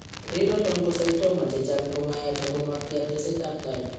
Renal Oncocytoma chechang' ko mayach ako matya tesetab tai.